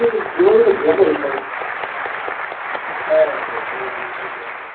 হয় বলতে গেলে